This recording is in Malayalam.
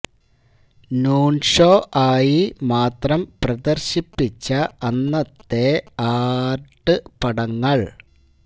നൂണ് ഷോ ആയി മാത്രം പ്രദര്ശിപ്പിച്ച അന്നത്തെ ആര്ട് പടങ്ങള്